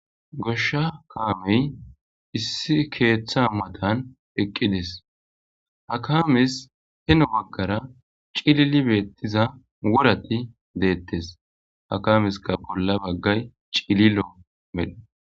Goshsha kaamey issi keeththa matan eqqides hakames heno baggara cilili beettiza wurati deettes hakameska bolla baggay cililo medhe.